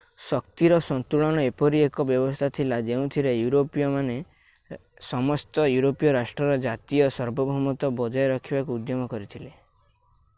ଶକ୍ତିର ସନ୍ତୁଳନ ଏପରି ଏକ ବ୍ୟବସ୍ଥା ଥିଲା ଯେଉଁଥିରେ ୟୁରୋପୀୟ ରାଷ୍ଟ୍ରମାନେ ସମସ୍ତ ୟୁରୋପୀୟ ରାଷ୍ଟ୍ରର ଜାତୀୟ ସାର୍ବଭୗମତ୍ଵ ବଜାୟ ରଖିବାକୁ ଉଦ୍ୟମ କରିଥିଲେ